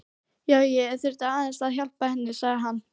Já, ég þurfti aðeins að. hjálpa henni, sagði hann.